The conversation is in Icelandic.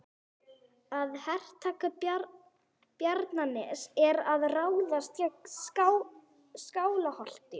Að hertaka Bjarnanes er að ráðast gegn Skálholti.